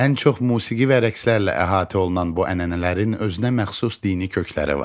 Ən çox musiqi və rəqslərlə əhatə olunan bu ənənələrin özünəməxsus dini kökləri vardı.